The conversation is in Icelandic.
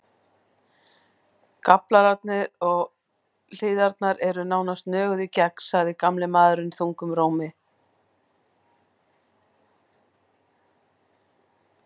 Gaflarnir og hliðarnar eru nánast nöguð í gegn, sagði gamli maðurinn þungum rómi.